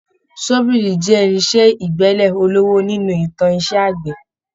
Ṣọ́bìrì jẹ́ irinṣẹ́ ìgbẹ́lẹ̀ ọlọ́wọ́ nínú ìtàn iṣẹ́ àgbẹ̀